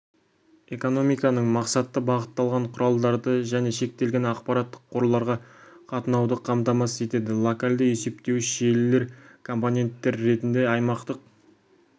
экономиканың мақсатты бағытталған құралдарды және шектелген ақпараттық қорларға қатынауды қамтамасыз етеді локалды есептеуіш желілер компоненттер ретінде аймақтық